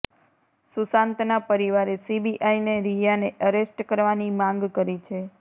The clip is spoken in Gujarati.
સુશાંતના પરિવારે સીબીઆઈને રિયાને અરેસ્ટ કરવાની માંગ કરી છે